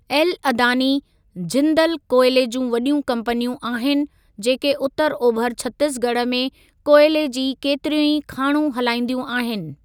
L Adani, Jindal कोयले जूं वॾियूं कंपनियूं आहिनि, जेके उतर ओभर छत्तीसगढ़ में कोयले जी केतिरियूं ई खाणूं हलाईंदियूं आहिनि।